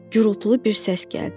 Gürultulu bir səs gəldi.